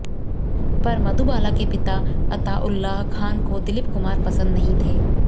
पर मधुबाला के पिता अताउल्लाह खान को दिलीप कुमार पसंद नहीं थे